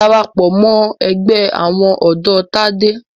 Darapọ̀ mọ́ ẹgbẹ́ àwọn ọ̀dọ́ Tádé!